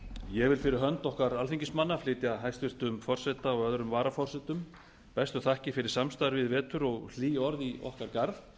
vil fyrir hönd okkar alþingismanna flytja hæstvirts forseta og öðrum varaforsetum bestu þakkir fyrir samstarfið í vetur og hlý orð í okkar garð